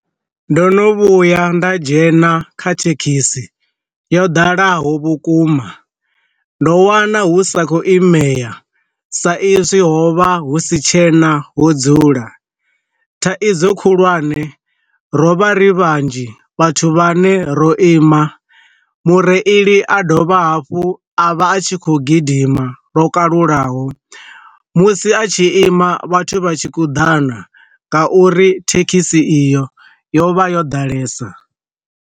Ndo no vhuya nda dzhena kha thekhisi yo dalaho vhukuma, ndo wana hu sa khou imela sa izwi ho vha hu si tshena ho dzula, thaidzo khulwane ro vha ri vhanzhi vhathu vha ne ro ima mureili a dovha hafhu a vha a tshi khou gidima lwo kalulaho, musi a tshi ima vhathu vha tshi kuḓana nga uri thekhisi iyo yo vha yo ḓalesa.